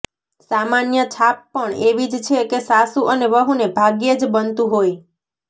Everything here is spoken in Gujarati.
સામાન્ય છાપ પણ એવી જ છે કે સાસુ અને વહુને ભાગ્યે જ બનતું હોય